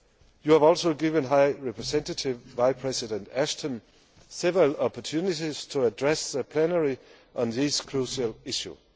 You have also given High Representative Vice President Ashton several opportunities to address the plenary on these crucial issues.